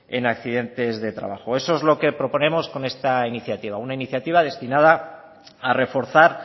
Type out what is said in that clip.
en accidentes de trabajo eso es lo que proponemos con esta iniciativa una iniciativa destinada a reforzar